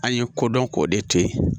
An ye ko dɔn k'o de to yen